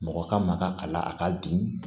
Mɔgɔ ka maka a la a ka bi